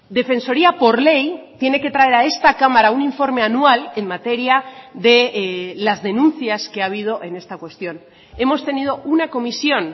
defensoría por ley tiene que traer a esta cámara un informe anual en materia de las denuncias que ha habido en esta cuestión hemos tenido una comisión